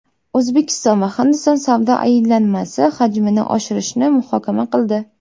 O‘zbekiston va Hindiston savdo aylanmasi hajmini oshirishni muhokama qildi.